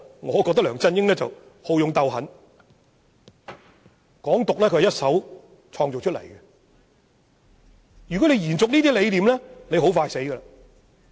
我認為梁振英好勇鬥狠，"港獨"是由他一手創造出來，如要延續這些理念，必然命不久矣。